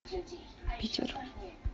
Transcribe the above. питер